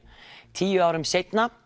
tíu árum seinna